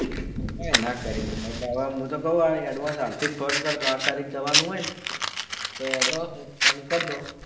કઈ ના કરી હું તો કહું advance હાલ થી ફોન કર દો આઠ તરીકે જવાનું હોય ને advance માં ફોન કર દો